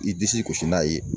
I disi gosi n'a ye ?]